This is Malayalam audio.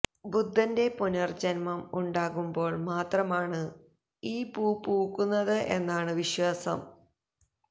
ബുദ്ധന്റെ പുനര്ജന്മം ഉണ്ടാകുമ്പോള് മാത്രമാണ് ഈ പൂ പൂക്കുന്നത് എന്നാണു വിശ്വാസം